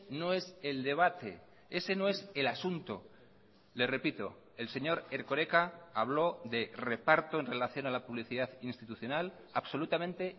no es el debate ese no es el asunto le repito el señor erkoreka habló de reparto en relación a la publicidad institucional absolutamente